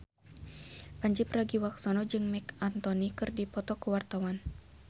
Pandji Pragiwaksono jeung Marc Anthony keur dipoto ku wartawan